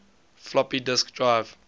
floppy disk drive